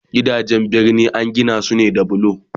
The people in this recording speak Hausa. Gidajen birni Akan Gina su da bulo